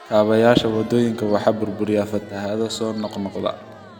Kaabayaasha wadooyinka waxaa burburiya fatahaadaha soo noqnoqda.